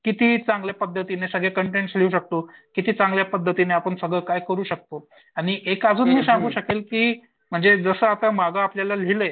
किती चांगल्या पद्धतीने सगळे कंटेन्स लिहू शकतो. किती चांगल्या पद्धतीने आपण सगळं काही करू शकतो. आणि एक अजून मी सांगू शकेल की म्हणजे जसं आता माग आपल्याला लिहिलंय.